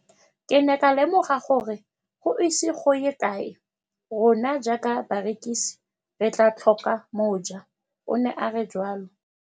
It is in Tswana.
Ke ne ka lemoga gore go ise go ye kae rona jaaka barekise re tla tlhoka mojo, ne a re jalo.